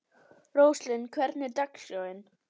Róslind, hvernig er dagskráin?